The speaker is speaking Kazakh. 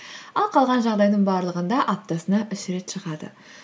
ал қалған жағдайдың барлығында аптасына үш рет шығады